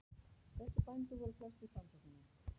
Þessir bændur voru flestir framsóknarmenn.